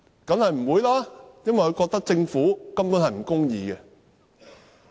當然不會，因為他們覺得政府根本不公義。